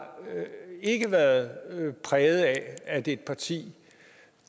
ikke været præget af at et parti